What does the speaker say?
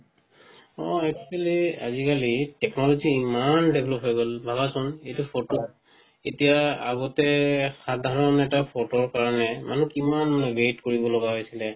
হয় actually আজি-কালি technology ইমান develop হই গল ভাৱাচোন এতিয়া photo এতিয়া আগতে সাধাৰন এটা photoৰ কাৰনে মনুহ কিমান wait কৰিব লাগা হইছিলে